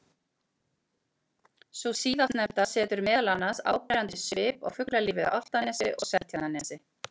Sú síðastnefnda setur meðal annars áberandi svip á fuglalífið á Álftanesi og Seltjarnarnesi.